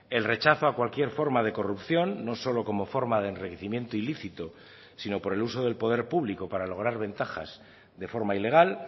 el rechazo a cualquier forma de corrupción no solo como forma de enriquecimiento ilícito si no por el uso del poder público para lograr ventajas de forma ilegal